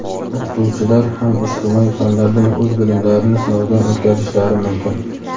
o‘qituvchilar ham ijtimoiy fanlardan o‘z bilimlarini sinovdan o‘tkazishlari mumkin.